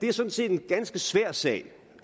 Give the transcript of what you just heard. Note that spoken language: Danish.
er sådan set en ganske svær sag